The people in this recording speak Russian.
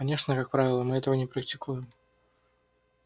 конечно как правило мы этого не практикуем